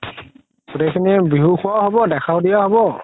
গুতেই খিনি বিহু খুৱাও হ'ব দেখা দিয়াও হ'ব